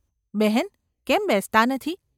‘બહેન ! કેમ બેસતાં નથી ?.